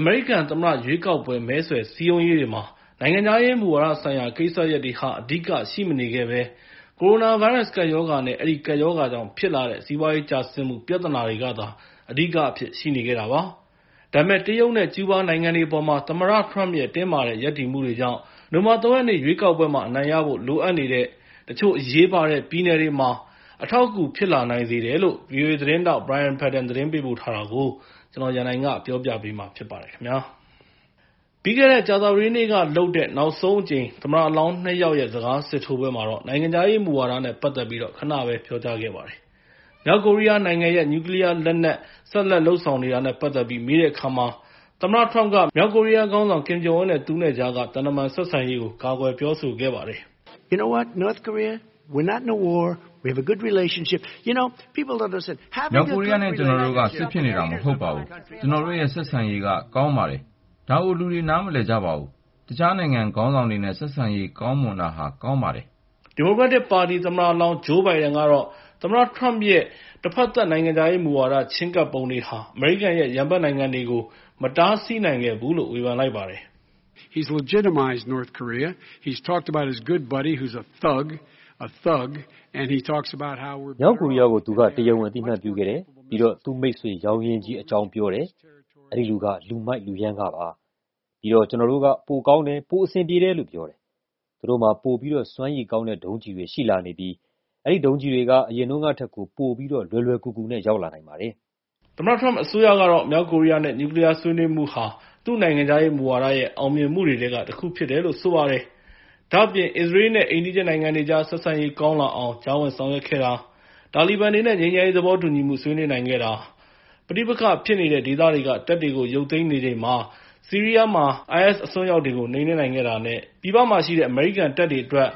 အမေရိကန်သမ္မတရွေးကောက်ပွဲမှာ နိုင်ငံခြားရေးမူဝါဒဆိုင်ရာ ကိစ္စရပ်တွေက အဓိကရှိမနေခဲ့ဘဲ ကိုရိုနာဗိုင်းရပ်စ် ကပ်ရောဂါနဲ့ အဲဒီကပ်ရောဂါကြောင့် ဖြစ်လာတဲ့ စီးပွားရေးကျဆင်းမှု ပြဿနာက အဓိကအဖြစ် ရှိနေခဲ့တာပါ။ ဒါပေမယ့် တရုတ်နဲ့ ကျူးဘားနိုင်ငံတွေအပေါ်မှာ သမ္မတ Trump ရဲ့ တင်းမာတဲ့ ရပ်တည်မှုတွေကြောင့် နိုဝင်ဘာ ၃ ရက် ရွေးကောက်ပွဲမှာ အနိုင်ရဖို့ လိုအပ်နေတဲ့ တချို့အရေးပါတဲ့ ပြည်နယ်တွေမှာ အထောက်အကူ ဖြစ်လာစေနိုင်တယ်လို့ ဗီအိုအေသတင်းထောက် Brian Padden သတင်းပေးပို့ထားတာကို ကိုရန်နိုင် တင်ပြပေးထားပါတယ်။ ပြီးခဲ့တဲ့ ကြာသပတေးနေ့ကလုပ်တဲ့ နောက်ဆုံးအကြိမ် သမ္မတလောင်း ၂ ယောက်ရဲ့ စကားစစ်ထိုးပွဲမှာတော့ နိုင်ငံခြားရေးမူဝါဒနဲ့ ပတ်သက်ပြီး ခဏပဲ ပြောခဲ့ကြပါတယ်။ မြောက်ကိုရီးယားနိုင်ငံရဲ့ နျူကလီးယားလက်နက် ဆက်လက်လုပ်ဆောင်နေတာနဲ့ ပတ်သက်ပြီး မေးတဲ့အခါမှာ သမ္မတ Trump က မြောက်ကိုရီးယားခေါင်းဆောင် Kim Jong-un နဲ့ သူနဲ့ကြားက သံတမန်ဆက်ဆံရေးကို ကာကွယ်ပြောဆိုသွားပါတယ်။ “မြောက်ကိုရီးယားနဲ့ ကျနော်တို့က စစ်ဖြစ်နေတာ မဟုတ်ပါဘူး။ ကျနော်တို့ရဲ့ ဆက်ဆံရေးက ကောင်းပါတယ်။ ဒါကို လူတွေနားမလည်ကြပါဘူး။ တခြားနိုင်ငံခေါင်းဆောင်တွေနဲ့ ဆက်ဆံရေး ကောင်းမွန်တာဟာ ကောင်းပါတယ်။” ဒီမိုကရက်တစ်ပါတီ သမ္မတလောင်း Joe Biden ကတော့ သမ္မတ Trump ရဲ့ တဖက်သတ် နိုင်ငံခြားရေးမူဝါဒ ချဉ်းကပ်ပုံတွေဟာ အမေရိကန်ရဲ့ ရန်ဘက်နိုင်ငံတွေကို မတားဆီးနိုင်ခဲ့ဘူးလို့ ဝေဖန်လိုက်ပါတယ်။ “သူက မြောက်ကိုရီးယားကို တရားဝင် အသိအမှတ်ပြုခဲ့တယ်။ ပြီးတော့ သူ့မိတ်ဆွေရောင်းရင်းကြီးအကြောင်း ပြောတယ်။ အဲဒီလူက လူမိုက် လူရမ်းကားပါ။ ပြီးတော့ ကျနော်တို့က ပိုကောင်းတယ်၊ ပိုအဆင်ပြေတယ်လို့ ပြောတယ်။ သူတို့မှာ ပိုပြီးတော့ စွမ်းရည်ကောင်းတဲ့ ဒုံးကျည်တွေ ရှိလာနေပြီး အဲဒီဒုံးကျည်တွေက အရင်တုန်းကထက်ကို ပိုပြီးတော့ လွယ်လွယ်ကူကူနဲ့ ရောက်လာနိုင်ပါတယ်။” သမ္မတ Trump အစိုးရကတော့ မြောက်ကိုရီးယားနဲ့ နျူကလီးယား ဆွေးနွေးမှုဟာ သူ့နိုင်ငံခြားရေးမူဝါဒရဲ့ အောင်မြင်မှုတွေထဲက တခုဖြစ်တယ်လို့ ဆိုပါတယ်။ ဒါ့အပြင် အစ္စရေးလ်နဲ့ အိမ်နီးချင်းနိုင်ငံတွေကြား ဆက်ဆံရေး ကောင်းလာအောင် ကြားဝင်ဆောင်ရွက်ခဲ့တာ၊ တာလီဘန်တွေနဲ့ ငြိမ်းချမ်းရေး သဘောတူညီမှု ဆွေးနွေးနိုင်ခဲ့တာနဲ့ ပဋိပက္ခဖြစ်နေတဲ့ ဒေသတွေက တပ်တွေကို ရုပ်သိမ်းနေချိန်မှာပဲ ဆီးရီးယားမှာ IS အစွန်းရောက်တွေကို နှိမ်နင်းနိုင်ခဲ့တာနဲ့ ပြည်ပမှာရှိတဲ့ အမေရိကန်တပ်တွေအတွက်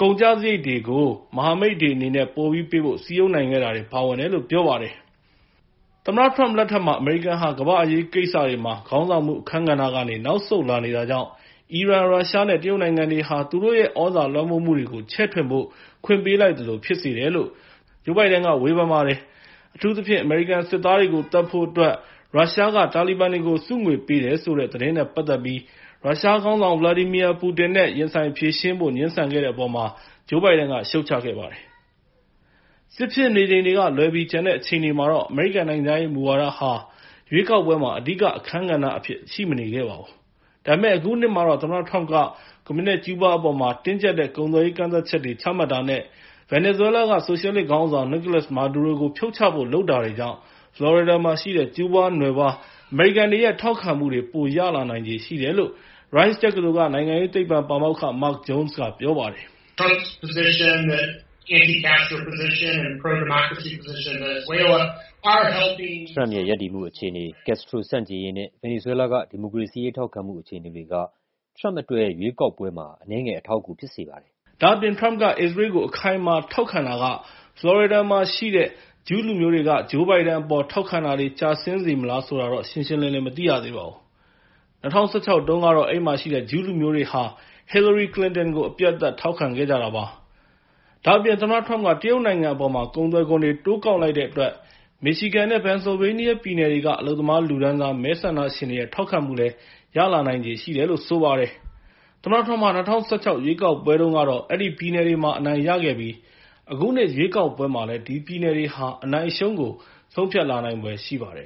ကုန်ကျစရိတ်တွေကို မဟာမိတ်တွေအနေနဲ့ ပိုပေးဖို့ စည်းရုံးနိုင်ခဲ့တာတွေ ပါဝင်တယ်လို့ ပြောပါတယ်။ သမ္မတ Trump လက်ထက်မှာ အမေရိကန်ဟာ ကမ္ဘာ့အရေးကိစ္စတွေမှာ ခေါင်းဆောင်မှု အခန်းကဏ္ဍကနေ နောက်ဆုတ်လာနေတာကြောင့် အီရန်၊ ရုရှားနဲ့ တရုတ်နိုင်ငံတွေဟာ သူတို့ရဲ့ သြဇာလွှမ်းမိုးမှုတွေကို ချဲ့ထွင်ဖို့ ခွင့်ပေးလိုက်သလို ဖြစ်စေတယ်လို့ Joe Biden က ပြောလိုက်ပါတယ်။ အထူးသဖြင့် အမေရိကန်စစ်သားတွေကို သတ်ဖို့အတွက် ရုရှားက တာလီဘန်တွေကို ဆုငွေတွေပေးတယ်ဆိုတဲ့ သတင်းနဲ့ပတ်သက်ပြီး ရုရှားခေါင်းဆောင် Vladimir Putin နဲ့ ရင်ဆိုင်ဖြေရှင်းဖို့ ငြင်းဆန်ခဲ့တဲ့အပေါ်မှာ Joe Biden က ရှုတ်ချလိုက်ပါတယ်။ စစ်ဖြစ်နေချိန်ကလွဲပြီး ကျန်တဲ့အချိန်တွေမှာတော့ နိုင်ငံခြားမူဝါဒဟာ ရွေးကောက်ပွဲမှာ အဓိက အခန်းကဏ္ဍအဖြစ် ရှိမနေခဲ့ပါဘူး။ ဒါပေမယ့် အခုနှစ်မှာတော့ သမ္မတ Trump က ကွန်မြူနစ် ကျူးဘားနိုင်ငံအပေါ် တင်းကျပ်တဲ့ ကုန်သွယ်ရေး ကန့်သတ်ချတ်တွေ ချမှတ်တာနဲ့ ဗင်နီဇွဲလား ဆိုရှယ်လစ်ခေါင်းဆောင် Nicolás Maduro ကို ဖြုတ်ချဖို့ လုပ်တာတွေကြောင့် ဖလော်ရီဒါမှာရှိတဲ့ ကျူးဘားနွယ်ဖွား အမေရိကန်တွေရဲ့ ထောက်ခံမှုတွေ ပိုရလာနိုင်ချေရှိတယ်လို့ Rice တက္ကသိုလ်က နိုင်ငံရေးသိပ္ပံပါမောက္ခ Mark Jones က ပြောပါတယ်။ “Trump ရဲ့ ရပ်တည်မှုအခြေအနေ၊ ကတ်စထရိုဆန့်ကျင်ရေးနဲ့ ဗင်နီဇွဲလားက ဒီမိုကရေစီရေး ထောက်ခံမှု အခြေအနေတွေက Trump အတွက် ရွေးကောက်ပွဲမှာ အနည်းငယ် အထောက်အကူ ဖြစ်စေပါတယ်။” ဒါ့အပြင် Trump က အစ္စရေးကို အခိုင်အမာ ထောက်ခံတာက ဖလော်ရီဒါမှာရှိတဲ့ ဂျူးလူမျိုးတွေ Joe Biden ကို ထောက်ခံတာ ကျဆင်းစေမလား ဆိုတာတော့ ရှင်းရှင်းလင်းလင်း မသိရပါဘူး။ ၂၀၁၆ တုန်းကတော့ အဲဒီမှာရှိတဲ့ ဂျူးလူမျိုးတွေဟာ Hillary Clinton ကို အပြတ်အသတ် ထောက်ခံခဲ့ကြတာ ဖြစ်ပါတယ်။ ဒါ့အပြင် သမ္မတ Trump က တရုတ်နိုင်ငံအပေါ် ကုန်သွယ်ခွန်တွေ တိုးကောက်လိုက်တဲ့အတွက် မစ်ရှီဂန်နဲ့ ပင်ဆယ်လ်ဗေးနီးယား ပြည်နယ်တွေက အလုပ်သမားလူတန်းစား မဲဆန္ဒရှင်တွေရဲ့ ထောက်ခံမှုလည်း ရလာနိုင်ချေ ရှိနေပါတယ်။ သမ္မတ Trump ဟာ ၂၀၁၆ ရွေးကောက်ပွဲတုန်းကတော့ အဲဒီပြည်နယ်တွေမှာ အနိုင်ရခဲ့ပြီး အခုနှစ် ရွေးကောက်ပွဲမှာလည်း ဒီပြည်နယ်တွေက အနိုင်အရှုံးကို ဆုံးဖြတ်လာနိုင်ဖွယ်ရှိပါတယ်